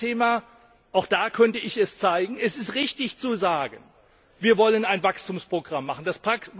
Das zweite Thema auch da kann ich es zeigen Es ist richtig, zu sagen, dass wir ein Wachstumsprogramm machen wollen.